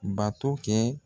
Bato kɛ